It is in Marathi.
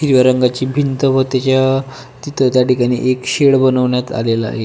हिरव्या रंगाची भिंत व त्याच्या तिथं त्या ठिकाणी एक शेड बनवण्यात आलेला आहे.